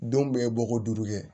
Denw bɛ bɔ ko duuru kɛ